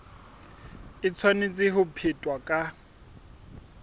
e tshwanetse ho phethwa ka